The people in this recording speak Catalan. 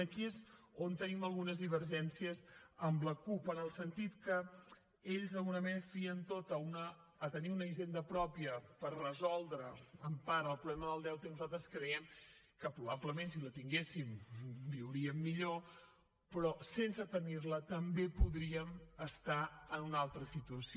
i aquí és on tenim algunes divergències amb la cup en el sentit que ells d’alguna manera ho fien tot a tenir una hisenda pròpia per resoldre en part el problema del deute i nosaltres creiem que probablement si la tinguéssim viuríem millor però sense tenir la també podríem estar en una altra situació